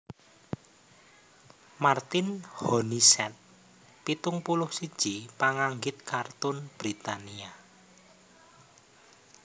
Martin Honeysett pitung puluh siji panganggit kartun Britania